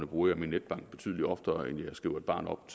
bruger min netbank betydelig oftere end jeg skriver et barn op